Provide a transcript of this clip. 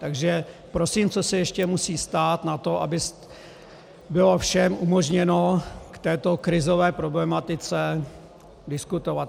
Takže prosím, co se ještě musí stát na to, aby bylo všem umožněno k této krizové problematice diskutovat?